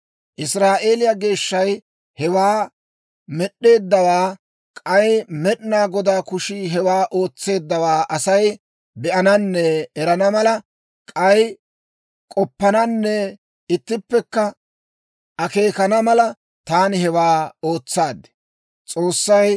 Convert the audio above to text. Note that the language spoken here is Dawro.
Israa'eeliyaa Geeshshay hewaa med'd'eeddawaa, k'ay Med'inaa Godaa kushii hewaa ootseeddawaa Asay be'ananne erana mala, k'ay k'oppananne ittippekka akeekana mala, taani hewaa ootsaad.